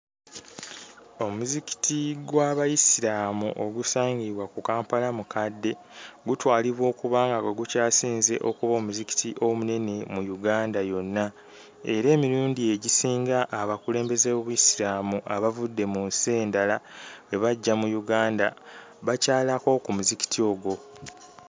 Omuzikiti gw'Abayisiraamu ogusangibwa ku Kampalamukadde gutwalibwa okuba nga gwe gukyasinze okuba omuzikiti omunene mu Uganda yonna, era emirundi egisinga abakulembeze b'Obuyisiraamu abavudde mu nsi endala bwe bajja mu Uganda bakyalako ku muzikiti ogwo.